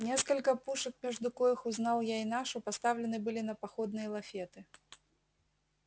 несколько пушек между коих узнал я и нашу поставлены были на походные лафеты